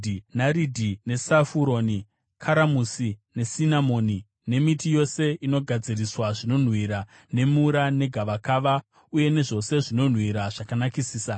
naridhi nesafuroni, karamusi, nesinamoni, nemiti yose inogadziriswa zvinonhuhwira nemura negavakava, uye nezvose zvinonhuhwira zvakanakisisa.